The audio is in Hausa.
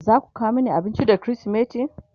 zaku kawo Mani abinci da krismeti?